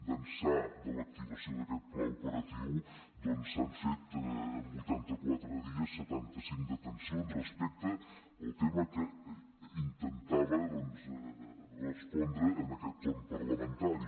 d’ençà de l’activació d’aquest pla operatiu doncs s’han fet en vuitanta quatre dies setanta cinc detencions respecte al tema que intentava doncs respondre en aquest torn parlamentari